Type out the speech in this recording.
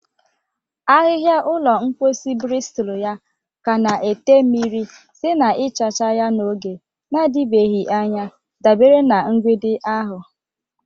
Ahịhịa ụlọ mposi, bristulu ya ka na-ete mmiri site na ịchacha ya n'oge na-adịbeghị anya, dabere na mgbidi ahụ.